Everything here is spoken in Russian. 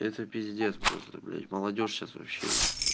это пиздец просто блять молодёжь сейчас вообще